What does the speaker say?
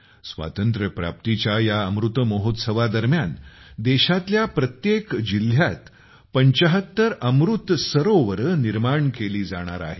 स्वातंत्र्यप्राप्तीच्या या अमृत महोत्सवा दरम्यान देशातल्या प्रत्येक जिल्ह्यात ७५ अमृत सरोवरे बांधली जाणार आहेत